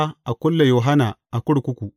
Ya sa a kulle Yohanna a kurkuku.